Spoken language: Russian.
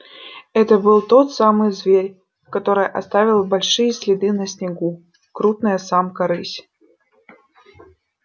это был тот самый зверь который оставил большие следы на снегу крупная самка рысь